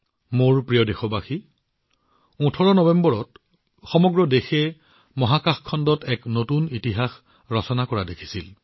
মোৰ মৰমৰ দেশবাসীসকল ১৮ নৱেম্বৰত সমগ্ৰ দেশে মহাকাশ খণ্ডত নতুন ইতিহাস ৰচনা কৰা প্ৰত্যক্ষ কৰিছিল